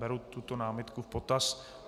Beru tuto námitku v potaz.